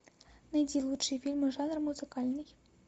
найди лучшие фильмы жанра музыкальный